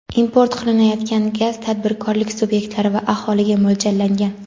import qilinayotgan gaz tadbirkorlik sub’ektlari va aholiga mo‘ljallangan.